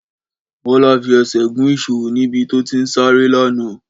Bọ́lá fi ẹsẹ̀ gùn ìṣó ní ibi tó ti ń sáré lánàá